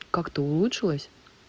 как-то улучшилось